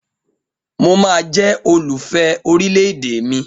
Mo máa jẹ́ olùfẹ́ orílẹ̀ èdè mi